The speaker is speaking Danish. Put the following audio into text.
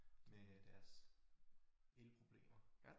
Med deres elproblemer